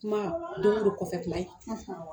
Kuma don o don kɔfɛ kuma ye